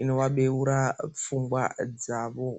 inova beura pfungwa dzavo .